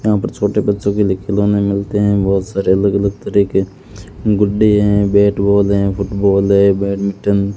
यहाँ पर छोटे बच्चों के लिए खिलोने मिलते हैं बहोत सारे अलग अलग तरह के गुड्डे हैं बैट बॉल हैं फुटबॉल हैं बैडमिंटन --